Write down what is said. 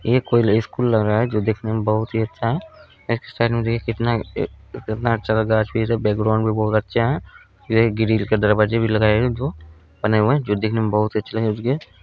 ये कोई स्कूल लग रहा है जो देखने में बहुत ही अच्छा है एक साइड में देखिए कितना ए अच्छा सा गाछ-वृक्ष है बैकग्राउंड भी बहुत अच्छा है यहाँ एक ग्रील का दरवाजा जो दिखने में बहुत ही अच्छा लग रहे --